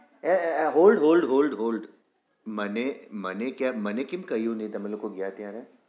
એ એ એ hold hold hold hold મને મને કેમ મને કેમ કહ્યુ નઈ તમે લોગો ગયા ત્યારે?